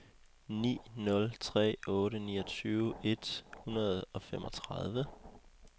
ni nul tre otte niogtyve et hundrede og femogtredive